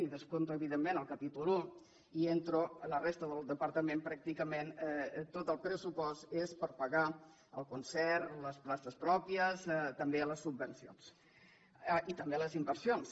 i descompto evidentment el capítol primer i entro a la resta del departament pràcticament tot el pressupost és per pagar el concert les places pròpies també les subvencions i també les inversions